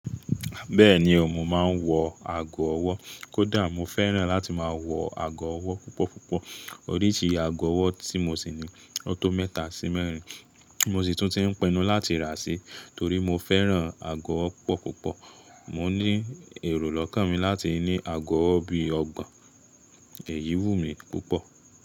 Bẹ́ẹ̀ni ò, mo máa ń wọ ago ọwọ́. Kódà mo fẹ́ràn láti máa wọ ago ọwọ́ púpọ̀púpọ̀. Oríṣi ago ọwọ́ tí mo sì ni ọtọ mẹ́ta sí mẹ́rin, mo sì tún ti ń pẹnu láti rà sí torí mo fẹ́ràn ago ọwọ́ púpọ̀púpọ̀. Mò ń ní èrò lọ́kàn mi láti ní ago ọwọ́ bi ọgbon. Èyí wù mí púpọ̀